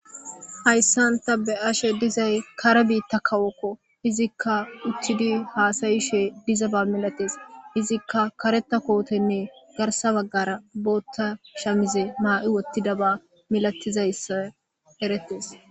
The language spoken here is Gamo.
hayssan ta be7ashe dizay kare biitta kawokko izikka uttidi haasayishe diza ba milates izikka kareta kootenne garsa baggara bootta shamize maa7i wottida ba milatizayssa erettes